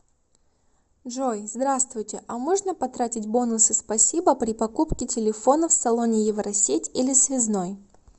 джой здравствуйте а можно потратить бонусы спасибо при покупке телефона в салоне евросеть или связной